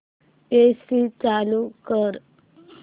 AC चालू कर